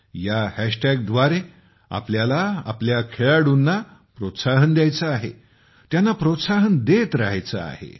या हॅशटॅगद्वारे आपल्याला आपल्या खेळाडूंना प्रोत्साहन द्यायचे आहे त्यांना प्रोत्साहन देत राहायचे आहे